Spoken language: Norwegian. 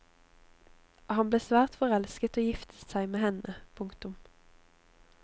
Han ble svært forelsket og giftet seg med henne. punktum